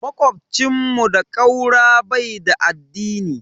Makocin mu da ƙaura bai da addini.